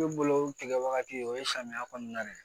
Ne bolo tigɛ wagati o ye samiya kɔnɔna de ye